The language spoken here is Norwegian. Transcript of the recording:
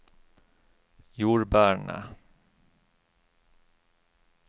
jordbærene